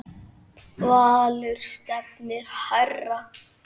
Valur stefnir hærra.